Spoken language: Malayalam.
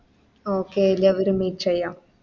Okay എല്ലാവരേം Meet ചെയ്യാം